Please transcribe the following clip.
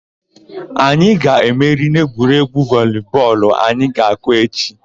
Anyị ga-emeri n'egwuregwu voli bọọlụ anyị ga-akụ echi.